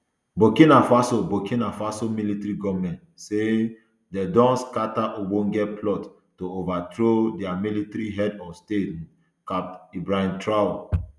burkina faso burkina faso military goment say um dem don scatter ogbonge plot to overthrow dia military head of state um capt ibrahim traor